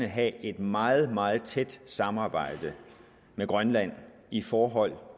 have et meget meget tæt samarbejde med grønland i forhold